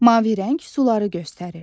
Mavi rəng suları göstərir.